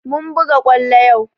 Mun buga kwallo yau